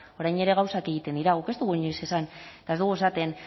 orain ere gauzak egiten dira guk ez dugu inoiz esan eta ez dugu esaten